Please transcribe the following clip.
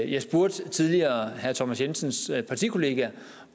jeg spurgte tidligere herre thomas jensens partikollega